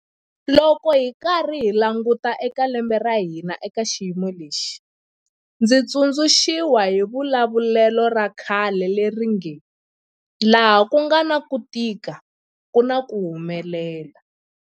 Loko hi karhi hi languta eka lembe ra hina eka xiyimo lexi, ndzi tsundzu xiwa hi xivulavulelo xa khale lexi nge 'laha ku nga na ku tika ku na ku humelela'.